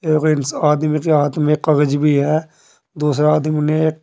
एक गो इंसा आदमी के हाथ में एक कागज भी है दूसरा आदमी ने एक--